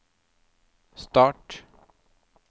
start